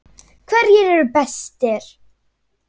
HVERJIR ERU BESTIR?